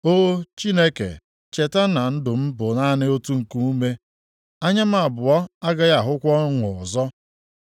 O Chineke cheta na ndụ m bụ naanị otu nkuume; anya m abụọ agaghị ahụkwa ọṅụ ọzọ.